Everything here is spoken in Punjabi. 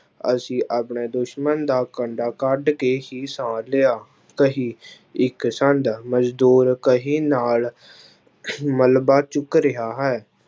ਅਸੀਂ ਆਪਣੇ ਦੁਸ਼ਮਣ ਦਾ ਕੰਡਾ ਕੱਢ ਕੇ ਹੀ ਸਾਹ ਲਿਆ, ਕਹੀ ਇੱਕ ਛੰਦ ਮਜ਼ਦੂਰ ਕਹੀ ਨਾਲ ਮਲਬਾ ਚੁੱਕ ਰਿਹਾ ਹੈ।